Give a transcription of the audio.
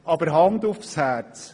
Aber, Hand aufs Herz: